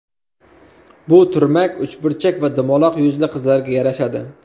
Bu turmak uchburchak va dumaloq yuzli qizlarga yarashadi.